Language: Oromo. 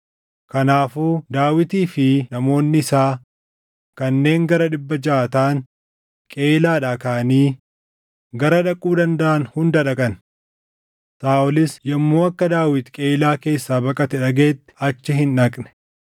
Kanaafuu Daawitii fi namoonni isaa kanneen gara dhibba jaʼa taʼan Qeyiilaadhaa kaʼanii gara dhaquu dandaʼan hunda dhaqan. Saaʼolis yommuu akka Daawit Qeyiilaa keessaa baqate dhagaʼetti achi hin dhaqne.